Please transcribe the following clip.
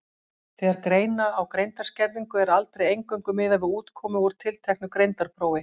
Þegar greina á greindarskerðingu er aldrei eingöngu miðað við útkomu úr tilteknu greindarprófi.